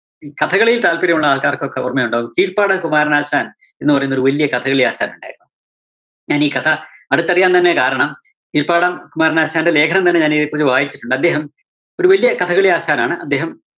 കഥകളിയില്‍ താല്‍പര്യം ഉള്ള ആള്‍ക്കാര്‍ക്കൊക്കെ ഓര്‍മ്മയുണ്ടാകും കീഴ്പ്പാട് കുമാരനാശാന്‍ എന്ന് പറയുന്നൊരു വല്ല്യ കഥകളിയാശാനുണ്ടായിരുന്നു. ഞാനീ കഥ അടുത്തറിയാന്‍ തന്നെ കാരണം കീഴ്പ്പാടം കുമാരനാശാന്റെ ലേഖനം തന്നെ ഞാനീയെപ്പഴോ വായിച്ചിട്ടുണ്ട്, അദ്ദേഹം ഒരു വലിയ കഥകളിയാശാനാണ്. അദ്ദേഹം